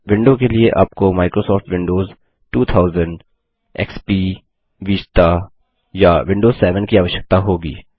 window के लिए आपको माइक्रोसाफ्ट विंडोज 2000सर्विस पैक 4 या अधिक एक्सपी Vistaविस्टा या विंडोज 7 की आवश्यकता होगी